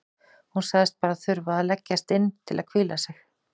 Hún sagðist bara þurfa að leggjast inn til að hvíla sig.